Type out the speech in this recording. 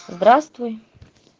здравствуй